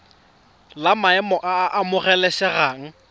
la maemo a a amogelesegang